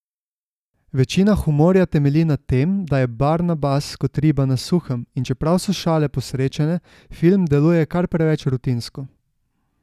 Večina humorja temelji na tem, da je Barnabas kot riba na suhem, in čeprav so šale posrečene, film deluje kar preveč rutinsko.